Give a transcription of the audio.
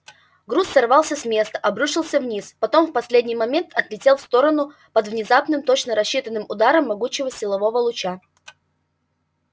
груз сорвался с места обрушился вниз потом в последний момент отлетел в сторону под внезапным точно рассчитанным ударом могучего силового луча